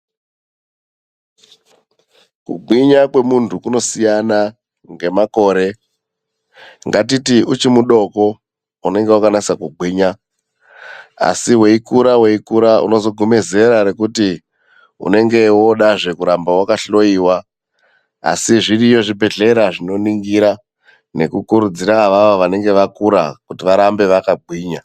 Kugwinya kwemundu kunosiyana ngemakore ngatiti uchiri mudoko unenge wakanyatso gwinya asi weikura weikura anozosvika zera rekuti unenge wakuda kuramba wakahloiwa asi zviriyo zvibhedhlera zvinoningira nekukurudzira ava vakura kuti varambe vakagwinya .